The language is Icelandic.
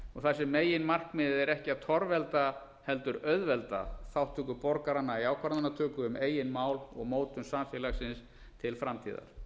haft þar sem meginmarkmiðið er ekki að torvelda heldur auðvelda þátttöku borgaranna í ákvarðanatöku um eigin mál og mótun samfélagsins til framtíðar